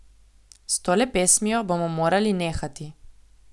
S tole pesmijo bomo morali nehati.